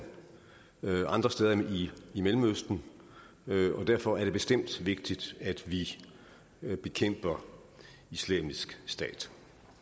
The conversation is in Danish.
og mange andre steder end i mellemøsten og derfor er det bestemt vigtigt at vi bekæmper islamisk stat